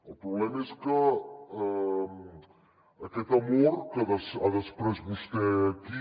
el problema és que aquest amor que ha desprès vostè aquí